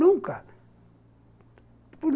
Nunca.